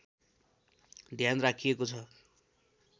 ध्यान राखिएको छ